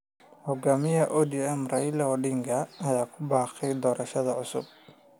Hogaamiyaha ODM, Raila Odinga, ayaa ku baaqay doorasho cusub.